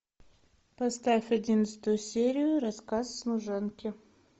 поставь одиннадцатую серию рассказ служанки